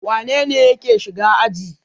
Wane ne yake shiga aji?